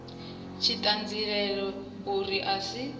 tshi ṱanziela uri a si